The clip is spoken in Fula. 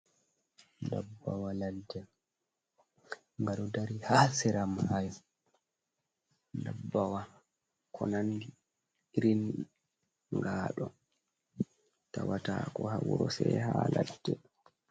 "Dabbawa ladde"ngaɗo dari ha sera mayo dabbawa ko nandi irin ngado tawata ko ha wuro se ha laɗɗe.